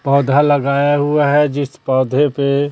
पौधा लगाया हुआ है जिस पौधे पे--